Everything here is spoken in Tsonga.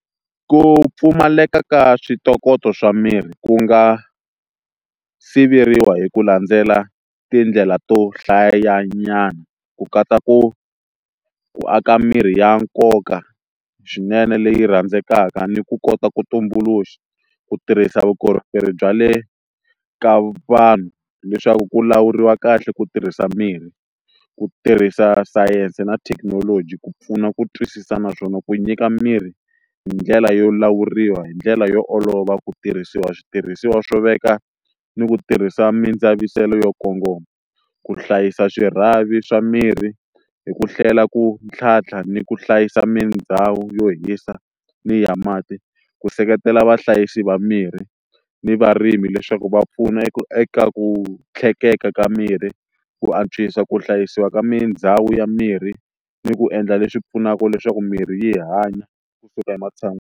Ku pfumaleka ka switokoto swa mirhi ku nga siveriwa hi ku landzela tindlela to hlaya nyana ku katsa ku ku aka mirhi ya nkoka swinene leyi rhandzekaka ni ku kota ku tumbuluxa, ku tirhisa vukorhokeri bya le ka vanhu leswaku ku lawuriwa kahle, ku tirhisa mirhi ku tirhisa science na thekinoloji ku pfuna ku twisisa naswona ku nyika mirhi hi ndlela yo lawuriwa hi ndlela yo olova ku tirhisiwa switirhisiwa swo veka ni ku tirhisa mindzaviselano yo kongoma ku hlayisa swirhavi swa mirhi hi ku hlela ku tlhantlha, ni ku hlayisa mindhawu yo hisa ni ya mati, ku seketela vahlayisi va mirhi ni varimi leswaku va pfuna eka ku tlhekeka ka mirhi ku antswisa ku hlayisiwa ka mindhawu ya mirhi, ni ku endla leswi pfunaka leswaku mirhi yi hanya kusuka ematshan'wini.